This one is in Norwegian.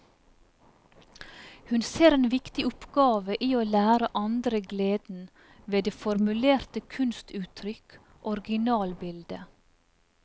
Hun ser en viktig oppgave i å lære andre gleden ved det formulerte kunstuttrykk, originalbildet.